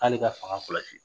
K'ale ka fanga kɔlɔsi.